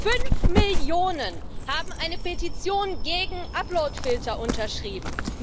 Fünf Millionen haben eine Petition gegen Uploadfilter unterschrieben.